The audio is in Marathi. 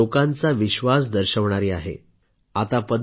हे आकडे जनांचा विश्वास दर्शवणारी आहे